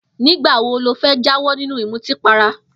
Nígbà wo lo fé̩ jáwó̩ nínú ìmutípara?